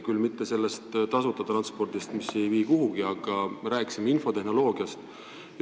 Küll mitte sellest tasuta transpordist, mis ei vii kuhugi, vaid infotehnoloogiast.